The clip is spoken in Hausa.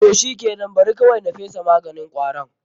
Toh shikenan, Bari kawaui na fesa maganin kwaron.